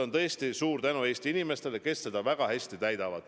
Ja tõesti suur tänu Eesti inimestele, kes seda kohustust väga hästi täidavad.